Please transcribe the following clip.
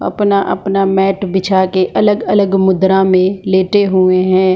अपना-अपना मेट बिछाके अलग-अलग मुद्रा में लेटे हुए है।